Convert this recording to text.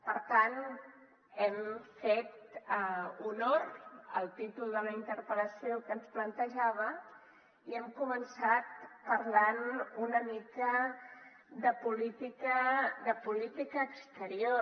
per tant hem fet honor al títol de la interpel·lació que ens plantejava i hem començat parlant una mica de política exterior